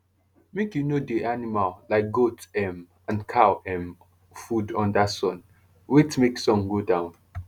make u no dey animal like goat um and cow um food under sun wait make sun go down